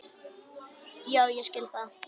Já, ég skil það.